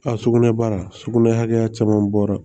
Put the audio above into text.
A sugunɛ baara sugunɛ hakɛya caman bɔra